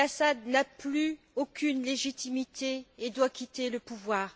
el Assad n'a plus aucune légitimité et doit quitter le pouvoir.